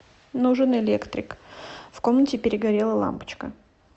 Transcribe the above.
нужен электрик в комнате перегорела лампочка